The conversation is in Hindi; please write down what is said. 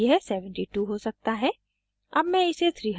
* web के लिए यह 72 हो सकता है